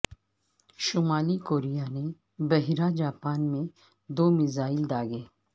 شمالی کوریا نے بحیرہ جاپان میں دو میزائل داغے